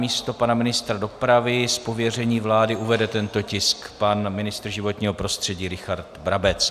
Namísto pana ministra dopravy s pověřením vlády uvede tento tisk pan ministr životního prostředí Richard Brabec.